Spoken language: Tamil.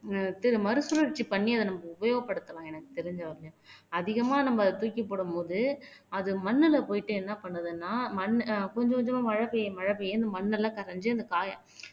ஆஹ் திரு மறுசுழற்சி பண்ணி அத நம்ம உபயோகப்படுத்தலாம் எனக்கு தெரிஞ்ச அதிகமா நம்ம தூக்கி போடும் போது அது மண்ணுல போயிட்டு என்ன பண்ணுதுன்னா மண்ணு அஹ் கொஞ்சம் கொஞ்சமா மழை பெய்யும் மழை பெய்ய இந்த மண்ணெல்லாம் கரைஞ்சு அந்த காயை